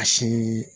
A si